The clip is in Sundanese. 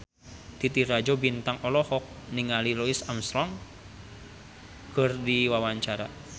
Titi Rajo Bintang olohok ningali Louis Armstrong keur diwawancara